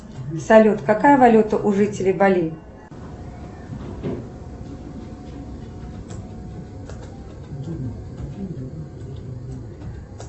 салют какая валюта у жителей бали